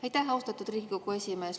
Aitäh, austatud Riigikogu esimees!